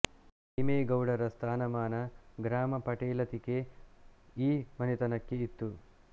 ಸೀಮೆ ಗೌಡರ ಸ್ಥಾನಮಾನ ಗ್ರಾಮ ಪಟೇಲತಿಕೆ ಈ ಮನೆತನಕ್ಕೆ ಇತ್ತು